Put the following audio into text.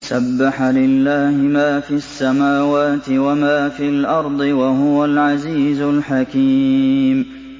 سَبَّحَ لِلَّهِ مَا فِي السَّمَاوَاتِ وَمَا فِي الْأَرْضِ ۖ وَهُوَ الْعَزِيزُ الْحَكِيمُ